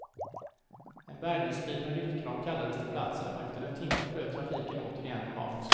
En bärgningsbil med lyftkran kallades till platsen och efter en timma flöt trafiken återigen normalt.